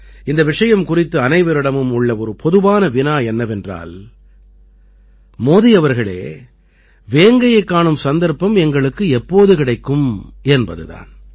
இந்த விஷயம் குறித்து அனைவரிடமும் உள்ள ஒரு பொதுவான வினா என்னவென்றால் மோதி அவர்களே வேங்கையைக் காணும் சந்தர்ப்பம் எங்களுக்கு எப்போது கிடைக்கும் என்பது தான்